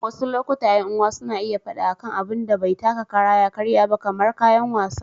Wasu lokutan, ƴan uwa suna iya faɗa akan abun da bai taka kara ya karya ba, kamar kayan wasa.